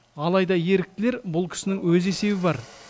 алайда еріктілер бұл кісінің өз есебі бар